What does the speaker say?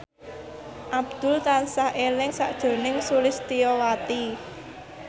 Abdul tansah eling sakjroning Sulistyowati